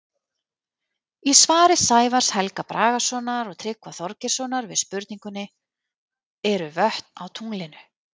Í svari Sævars Helga Bragasonar og Tryggva Þorgeirssonar við spurningunni Eru vötn á tunglinu?